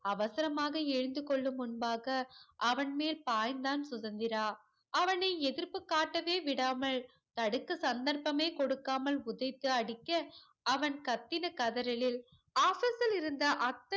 அவசரமாக எழுந்து கொள்ளும் முன்பாக அவன் மேல் பாய்ந்தான் சுதந்திரா அவனை எதிர்ப்பு காட்டவே விடாமல் தடுக்க சந்தர்ப்பமே குடுக்காமல் குதித்து அடிக்க அவன் கத்தின கதறலில் office லில் இருந்த அத்த